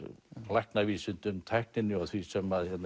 læknavísindum tækninni og því sem